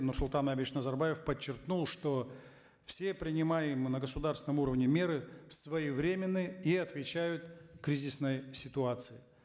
нурсултан абишевич назарбаев подчеркнул что все принимаемые на государственном уровне меры своевременны и отвечают кризисной ситуации